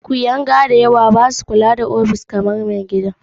Kuyanga da yawa a ofis ba sa kula da ofishin kamar na mai gida.